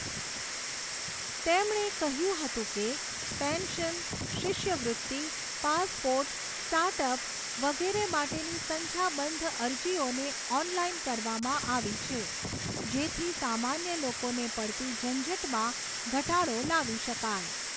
તેમણે કહ્યું હતું કે, પેન્શન, શિષ્યવૃત્તિ, પાસપોર્ટ, સ્ટાર્ટઅપ વગેરે માટેની સંખ્યાબંધ અરજીઓને ઑનલાઇન કરવામાં આવી છે જેથી સામાન્ય લોકોને પડતી ઝંઝટમાં ઘટાડો લાવી શકાય.